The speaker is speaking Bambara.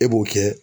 E b'o kɛ